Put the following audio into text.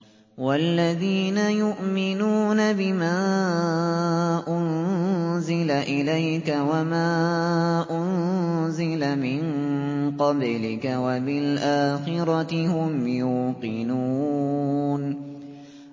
وَالَّذِينَ يُؤْمِنُونَ بِمَا أُنزِلَ إِلَيْكَ وَمَا أُنزِلَ مِن قَبْلِكَ وَبِالْآخِرَةِ هُمْ يُوقِنُونَ